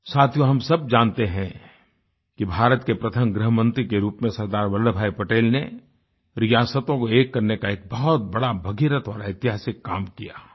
साथियो हम सब जानते है कि भारत के प्रथम गृहमंत्री के रूप में सरदार वल्लभभाई पटेल ने रियासतों को एक करने का एक बहुत बड़ा भगीरथ और ऐतिहासिक काम किया